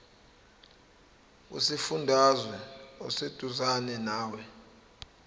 kusifundazwe oseduzane nawe